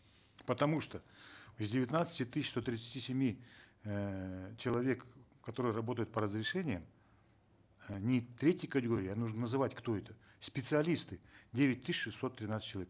потому что из девятнадцати тысяч сто тридцати семи эээ человек которые работают по разрешениям не третьей категории а нужно называть кто это специалисты девять тысяч шестьсот тринадцать человек